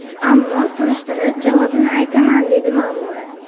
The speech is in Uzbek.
Ammo surishtirib, javobini aytaman, dedi Ma’mura.